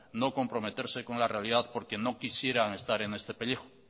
no comprometerse con la realidad porque no quisieran estar en este pellejo